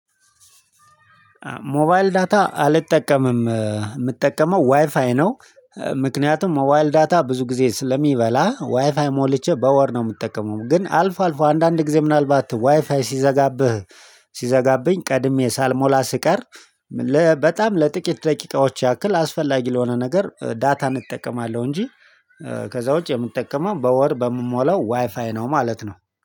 ሞባይል ዳታ አልጠቀምም የምጠቀመው ዋይፋይ ነው። ምክንያቱም ሞባይል ዳታ ብዙ ጊዜ ስለሚበላ ዋይፋይ ሞልቼ በወር ነው የምጠቀመው። ግን አልፎ አልፎ አንዳንድ ጊዜ ምናልባት ዋይፋይ ሲዘጋብህ ሲዘጋብኝ ቀድሜ ሳልሞላ ስቀር በጣም ለጥቂት ደቂቃዎች ያክል አስፈላጊ ለሆነ ነገር ዳታ እጠቀማለሁ። እንጂ ከዛ ውጪ የምጠቀመው በወር በምሞላው ዋይፋይ ነው ማለት ነው